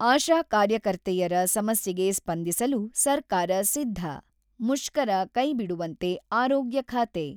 ಆಶಾ ಕಾರ್ಯಕರ್ತೆಯರ ಸಮಸ್ಯೆಗೆ ಸ್ಪಂದಿಸಲು ಸರ್ಕಾರ ಸಿದ್ಧ: ಮುಷ್ಕರ ಕೈಬಿಡುವಂತೆ, ಆರೋಗ್ಯ ಖಾತೆ